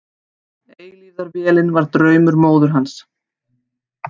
Eilífðarvélin var draumur móður hans.